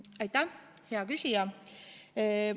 Aitäh, hea küsija!